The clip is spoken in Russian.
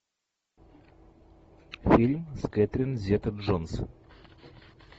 фильм с кэтрин зета джонс